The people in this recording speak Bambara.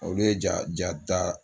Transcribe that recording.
Olu ye ja ja jata